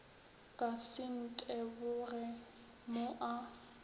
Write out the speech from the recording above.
ka se nteboge mo a